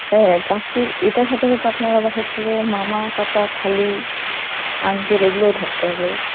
হ্যাঁ চাকরির এটার সাথে সাথে আপনার আবার হচ্ছে যে মামা, চাচা, খালু, uncle এগুলো থাকতে হবে.